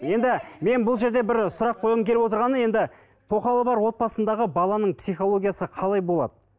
енді мен бұл жерде бір сұрақ қойғым келіп отырғаны енді тоқалы бар отбасындағы баланың психологиясы қалай болады